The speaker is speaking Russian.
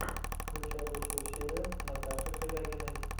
включай лучшую серию наташи шелягиной